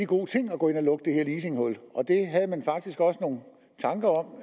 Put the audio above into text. god ting at gå ind og lukke det her leasinghul det havde man faktisk også nogle tanker om